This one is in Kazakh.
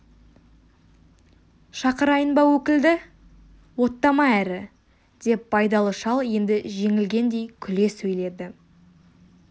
шақырайын ба өкілді оттама әрі деп байдалы шал енді жеңілгендей күле сөйлейді